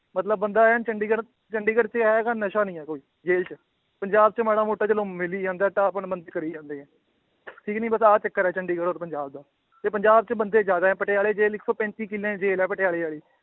ਮਤਲਬ ਬੰਦਾ ਐਨ ਚੰਡੀਗੜ੍ਹ ਚੰਡੀਗੜ੍ਹ 'ਚ ਜਾਏਗਾ ਨਸ਼ਾ ਨੀ ਹੈ ਕੋਈ ਜੇਲ੍ਹ ਪੰਜਾਬ 'ਚ ਮਾੜਾ ਮੋਟਾ ਚਲੋ ਮਿਲ ਹੀ ਜਾਂਦਾ, ਢਾਹ ਭੰਨ ਬੰਦੇ ਕਰੀ ਜਾਂਦੇ ਹੈ ਠੀਕ ਨੀ ਬਸ ਆਹ ਚੱਕਰ ਹੈ ਚੰਡੀਗੜ੍ਹ ਔਰ ਪੰਜਾਬ ਦਾ, ਤੇ ਪੰਜਾਬ 'ਚ ਬੰਦੇ ਜ਼ਿਆਦੇ ਹੈ ਪਟਿਆਲੇ ਜੇਲ੍ਹ ਇੱਕ ਸੌ ਪੈਂਤੀ ਕਿੱਲਿਆਂ ਦੀ ਜੇਲ੍ਹ ਹੈ ਪਟਿਆਲੇ ਵਾਲੀ।